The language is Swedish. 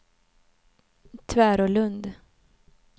Tvärålund